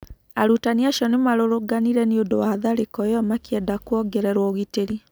Arutani acio nĩ marũrũnganire niundũ wa tharĩkĩro ĩyo makĩenda kũongererũo ũgitĩri.